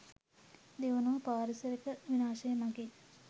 දෙවනුව පාරිසරික විනාශය මගින්